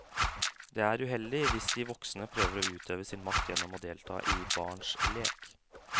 Det er uheldig hvis de voksne prøver å utøve sin makt gjennom å delta i barns lek.